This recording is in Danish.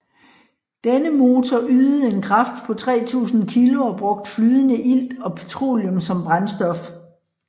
Denne motor ydede en kraft på 3000 kg og brugte flydende ilt og petroleum som brændstof